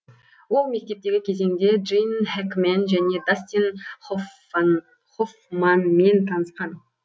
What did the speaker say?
ол мектептегі кезеңде джин хэкмен және дастин хоффманмен танысқан